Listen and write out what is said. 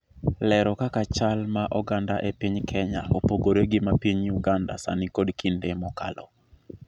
lero kaka chal ma oganda e piny Kenya opogore gi ma piny Uganda sani kod kinde mokalo